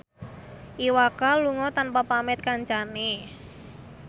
Iwa K lunga tanpa pamit kancane